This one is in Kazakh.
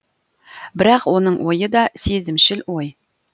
бірақ оның ойы да сезімшіл ой